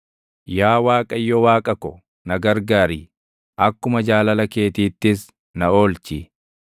Yaa Waaqayyo Waaqa ko, na gargaari; akkuma jaalala keetiittis na oolchi.